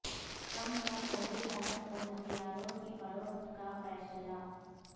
Trump کا سعودی عرب کو ہتھیاروں کی فروخت کا فیصلہ